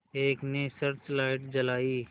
एक ने search light जलाई